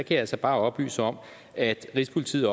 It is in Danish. jeg altså bare oplyse om at rigspolitiet